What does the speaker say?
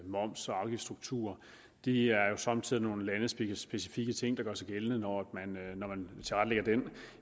moms og afgiftsstruktur det er jo somme tider et lands specifikke ting der gør sig gældende når